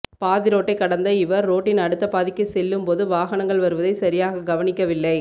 பாதிரோட்டை கடந்த இவர் ரோட்டின் அடுத்த பாதிக்கு செல்லும் போது வாகனங்கள் வருவதை சரியாக கவனிக்கவில்லை